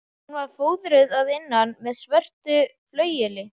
Hún var fóðruð að innan með svörtu flaueli.